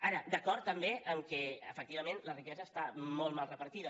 ara d’acord també que efectivament la riquesa està molt mal repartida